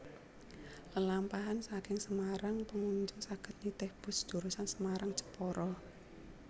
Lelampahan saking Semarang pengunjung saged nitih bus jurusan Semarang Jepara